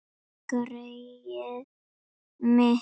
Greyið mitt